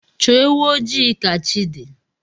Chọọ ewụ ojii ka chi di